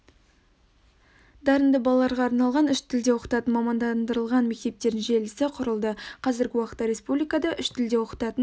дарынды балаларға арналған үш тілде оқытатын мамандандырылған мектептердің желісі құрылды қазіргі уақытта республикада үш тілде оқытатын